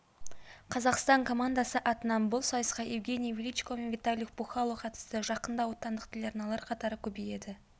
қазақстан командасы атынан бұл сайысқа евгений величко мен виталий пухкало қатысты жақында отандық телеарналар қатары көбейеді